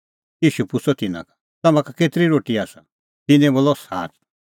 ईशू पुछ़अ तिन्नां का तम्हां का केतरी रोटी आसा तिन्नैं बोलअ सात